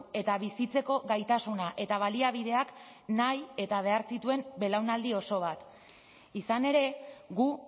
eta bizitzeko gaitasuna eta baliabideak nahi eta behar zituen belaunaldi oso bat izan ere gu